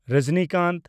Rajinikanth